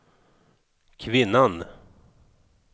kvinnan